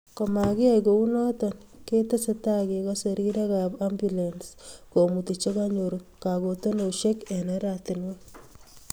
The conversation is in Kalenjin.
Komakiyai kounoto ketesetai kekose rirekap ambulens komuti che kanyor kakutunosiek eng oratinwek